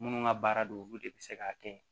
Minnu ka baara don olu de bɛ se k'a kɛ